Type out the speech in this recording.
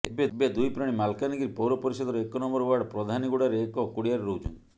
ଏବେ ଦୁଇ ପ୍ରାଣୀ ମାଲକାନଗିରି ପୌର ପରିଷଦର ଏକ ନମ୍ବର ୱାର୍ଡ ପ୍ରଧାନୀଗୁଡାରେ ଏକ କୁଡିଆରେ ରହୁଛନ୍ତି